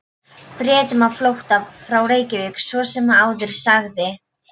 Bretum á flótta frá Reykjavík, svo sem áður sagði.